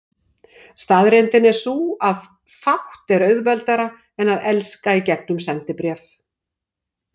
Staðreyndin er sú, að fátt er auðveldara en að elska í gegnum sendibréf.